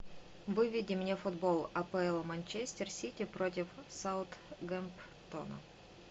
выведи мне футбол апл манчестер сити против саутгемптона